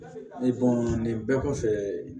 nin bɛɛ kɔfɛ